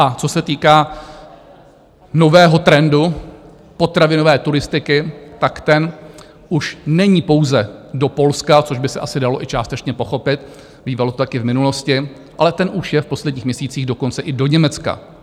A co se týká nového trendu potravinové turistiky, tak ten už není pouze do Polska, což by se asi dalo i částečně pochopit, bývalo to taky v minulosti, ale ten už je v posledních měsících dokonce i do Německa.